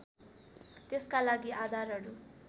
त्यसका लागि आधारहरू